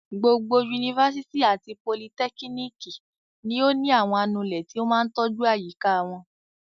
Gbogbo yunifásitì àti politẹ́kíníkì ni ó ní àwọn anulẹ̀ tí ó máa tọ́jú àyíká wọn.